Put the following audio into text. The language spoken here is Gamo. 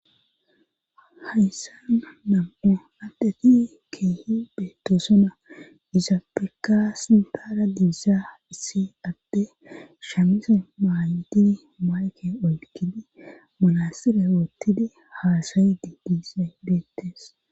hayssana nam7o addeti keehi beetoosona iza peka sintaara diizaa issi adde shamise maayidi mayke olkidi manasire woottidi haasayidi diisay beettes